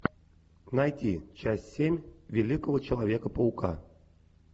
найти часть семь великого человека паука